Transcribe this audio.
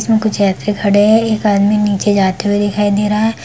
इसमें कुछ व्यक्ति खड़े हैं एक आदमी नीचे जाते हुए दिखाई दे रहे हैं।